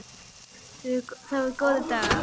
Það voru góðir dagar.